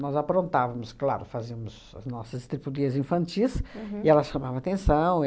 Nós aprontávamos, claro, fazíamos as nossas estripulias infantis, e ela chamava atenção.